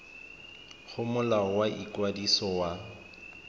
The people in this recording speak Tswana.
go molao wa ikwadiso wa